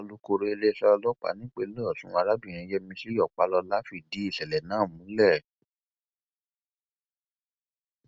alūkọrọ iléeṣẹ ọlọpàá nípìnlẹ ọsùn arábìnrin yẹmísì ọpálọlá fìdí ìṣẹlẹ náà múlẹ